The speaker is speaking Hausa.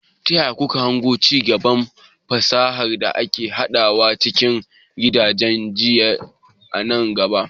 Ta yaya kuke hango ci gaban fasahar da ake haɗawa cikin gidajen jinya a nan gaba?